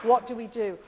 What do